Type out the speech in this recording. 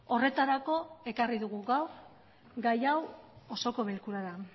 horretarako ekarri dugu gaur gai hau osoko bilkurara